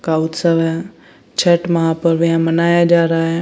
Cow उत्सव है छठ माहपुरब यहां मनाया जा रहा है।